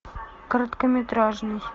короткометражный